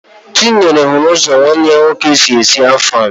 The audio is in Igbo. Chinyere hụrụ ụzọ nwanne ya nwoke si esi Afang